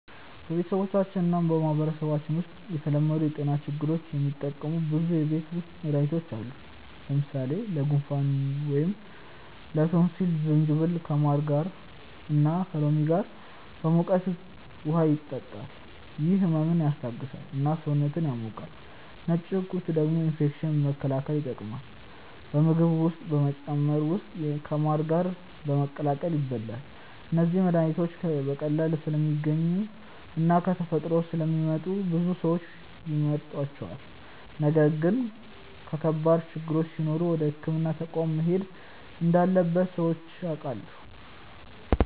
በቤተሰባችን እና በማህበረሰባችን ውስጥ ለተለመዱ የጤና ችግሮች የሚጠቀሙ ብዙ የቤት ውስጥ መድሃኒቶች አሉ። ለምሳሌ ለጉንፋን ወይም ላቶንሲል ጅንጅብል ከማር እና ከሎሚ ጋር በሙቀት ውሃ ይጠጣል፤ ይህ ህመምን ያስታግሳል እና ሰውነትን ያሞቃል። ነጭ ሽንኩርት ደግሞ ኢንፌክሽን መከላከል ይጠቀማል፣ በምግብ ውስጥ በመጨመር ወይም ከማር ጋር በመቀላቀል ይበላል። እነዚህ መድሃኒቶች በቀላሉ ስለሚገኙ እና ከተፈጥሮ ስለሚመጡ ብዙ ሰዎች ይመርጧቸዋል። ነገር ግን ከባድ ችግሮች ሲኖሩ ወደ ሕክምና ተቋም መሄድ እንዳለበት ሰዎች ያውቃሉ።